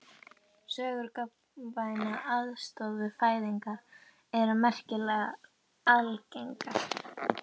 Sögur um gagnkvæma aðstoð við fæðingar eru merkilega algengar.